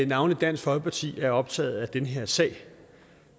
navnlig dansk folkeparti er optaget af den her sag